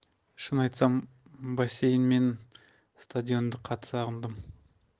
шын айтсам бассейн мен стадионды қатты сағындым